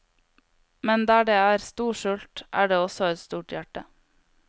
Men der det er stor sult, er det også et stort hjerte.